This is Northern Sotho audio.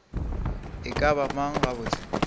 e ka ba mang gabotse